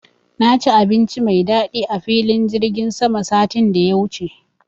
Na ci abinci mai daɗi a filin jirgin sama satin da ya wuce